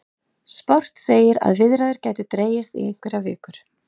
Sport segir að viðræður gætu dregist í einhverjar vikur